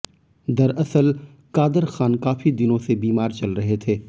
दरअसल कादरखान काफी दिनों से बीमार चल रहे थे